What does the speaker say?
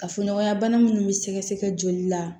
Kafoɲɔgɔnya bana minnu bɛ sɛgɛsɛgɛ joli la